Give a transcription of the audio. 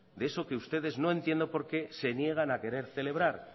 de eso que ustedes no entiendo por qué se niegan a querer celebrar